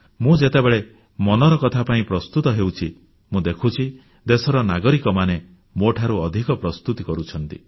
ମୁଁ ଯେତେବେଳେ ମନ୍ କି ବାତ୍ ପାଇଁ ପ୍ରସ୍ତୁତ ହେଉଛି ମୁଁ ଦେଖୁଛି ଦେଶର ନାଗରିକମାନେ ମୋଠାରୁ ଅଧିକ ପ୍ରସ୍ତୁତି କରୁଛନ୍ତି